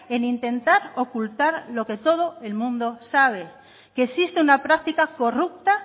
en intentar ocultar lo que todo el mundo sabe que existe una práctica corrupta